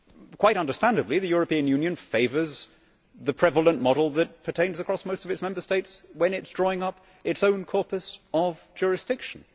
Quite understandably, the European Union favours the prevalent model that pertains across most of its Member States when it is drawing up its own corpus of jurisdiction.